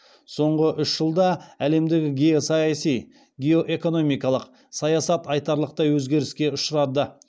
соңғы үш жылда әлемдегі геосаяси геоэкономикалық саясат айтарлықтай өзгеріске ұшырады